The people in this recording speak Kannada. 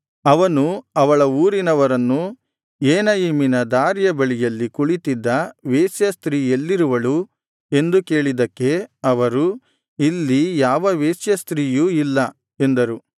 ಅವನು ಅವಳ ಊರಿನವರನ್ನು ಏನಯಿಮಿನ ದಾರಿಯ ಬಳಿಯಲ್ಲಿ ಕುಳಿತಿದ್ದ ವೇಶ್ಯಾಸ್ತ್ರೀ ಎಲ್ಲಿರುವಳು ಎಂದು ಕೇಳಿದ್ದಕ್ಕೆ ಅವರು ಇಲ್ಲಿ ಯಾವ ವೇಶ್ಯಾಸ್ತ್ರೀಯೂ ಇಲ್ಲ ಎಂದರು